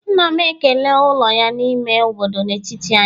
nna m ekela ụlọ ya n'ime obodo n'etiti anyị